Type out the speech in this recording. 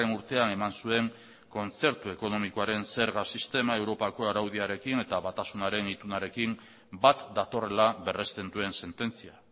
urtean eman zuen kontzertu ekonomikoaren zerga sistema europako araudiarekin eta batasunaren itunarekin bat datorrela berresten duen sententzia